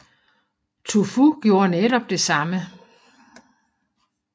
Tu Fu gjorde netop det samme